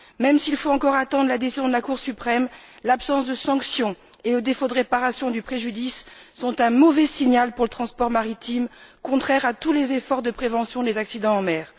Même s'il faut encore attendre la décision de la Cour suprême, l'absence de sanctions et le défaut de réparation du préjudice sont un mauvais signal pour le transport maritime, contraire à tous les efforts de prévention des accidents en mer.